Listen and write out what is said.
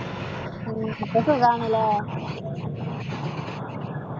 ഉം അപ്പോ സുഖാണല്ലേ?